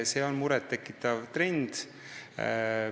See on muret tekitav trend.